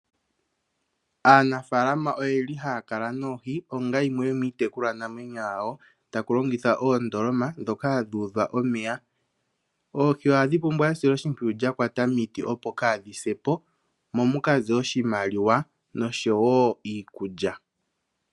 Aanafaalama oyeli haya kala noohi onga yimwe yomiitekulwa namwenyo yawo. Takulongithwa oondoloma dhoka hadhi udhwa omeya. Oohi ohadhi pumbwa esiloshipwiyu lyakwata miiti opo kadhi sepo momukaze oshimaliwa nosho wo iikulya.